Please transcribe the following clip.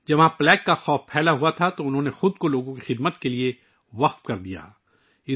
جب وہاں خوفناک طاعون پھیل گیا تو انھوں نے اپنے آپ کو لوگوں کی خدمت میں جھونک دیا